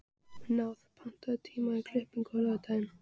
Náð, pantaðu tíma í klippingu á laugardaginn.